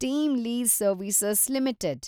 team Lease Service limited